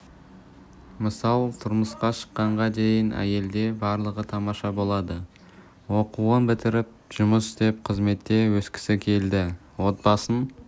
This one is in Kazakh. мысал тұрмысқа шыққанға дейін әйелде барлығы тамаша болады оқуын бітіріп жұмыс істеп қызметте өскісі келді отбасын